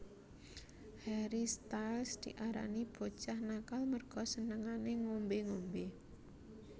Harry Styles diarani bocah nakal merga senengane ngombe ngombe